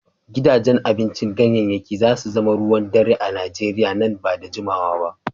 Gidajen abincin ganyayyaki za su zama ruwan dare a Nigeriya nan ba da jimawa ba.